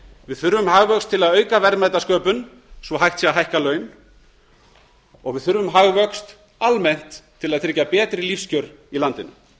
við þurfum hagvöxt til að auka verðmætasköpun svo hægt sé að hækka laun við þurfum hagvöxt almennt til að tryggja betri lífskjör í landinu